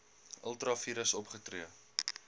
ultra vires opgetree